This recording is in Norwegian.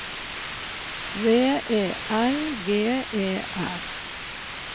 V E L G E R